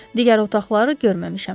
Digər otaqları görməmişəm.